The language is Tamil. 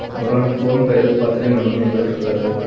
ஒரு ஆண் போன் பையாக் பாத்துட்டே நடந்து வந்துட்டுருக்காரு.